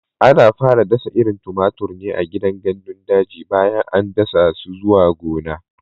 Ana fara dasa irin tumatir ne a gidan gandun daji bayan an dasa su zuwa gona.